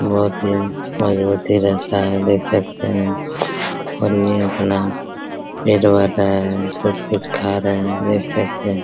बहुत ही मजबूती रहता हैं देख सकते है और ये अपना पेट भर रहा हैं कुछ-कुछ खा रहे है देख सकते है।